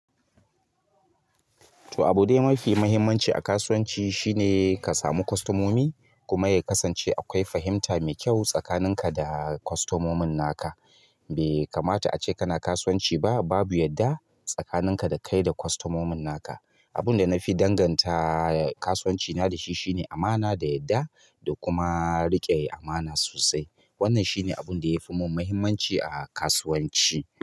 To abu dai mafi muhimmanci a kasuwanci shine ka samu kostomomi, kuma yakasance akwai fahimta mai kyau tsakanin ka da kostomomin naka. Be kamata ace kana kasuwanci ba babu yadda, tsakanin ka da kai da kostomomin naka. Abin da na fi danganta kasuwancina da shi, shine amana da yadda da kuma riƙe amana sosai. Wannan shine abin da yafi mun muhimmanci a kasuwanci.